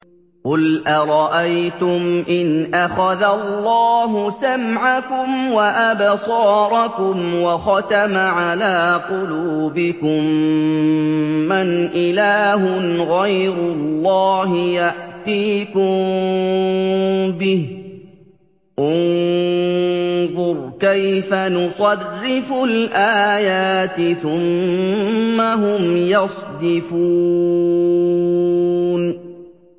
قُلْ أَرَأَيْتُمْ إِنْ أَخَذَ اللَّهُ سَمْعَكُمْ وَأَبْصَارَكُمْ وَخَتَمَ عَلَىٰ قُلُوبِكُم مَّنْ إِلَٰهٌ غَيْرُ اللَّهِ يَأْتِيكُم بِهِ ۗ انظُرْ كَيْفَ نُصَرِّفُ الْآيَاتِ ثُمَّ هُمْ يَصْدِفُونَ